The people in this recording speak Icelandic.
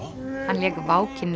hann lék